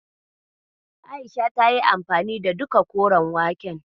A'isha tayi anfani da duka koren waken.